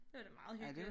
Det var da meget hyggeligt